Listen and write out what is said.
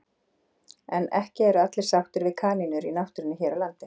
En ekki eru allir sáttir við kanínur í náttúrunni hér á landi.